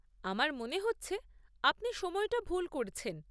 আমার মনে হচ্ছে আপনি সময়টা ভুল করছেন।